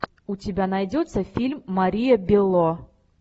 у тебя найдется фильм мария белло